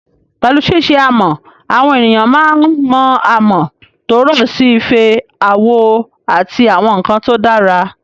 Pẹ̀lú ṣíṣe amọ̀, àwọn ènìyàn máa ń mọ amọ̀ tó rọ̀ sí ife, àwo, àti àwọn nkan tó dára